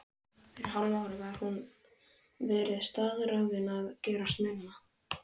Fyrir hálfu ári hafði hún verið staðráðin að gerast nunna.